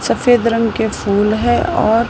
सफेद रंग के फूल है और--